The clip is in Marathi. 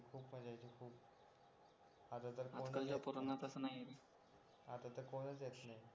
आता तर कोणच येत नाही आजकालच्या पोरांना तसं नाही आता तर कोणाच येत नाही